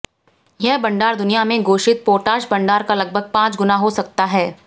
यह भंडार दुनिया में घोषित पोटाश भंडार का लगभग पांच गुना हो सकता है